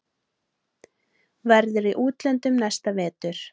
Verður í útlöndum næsta vetur.